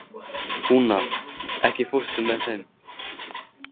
Húna, ekki fórstu með þeim?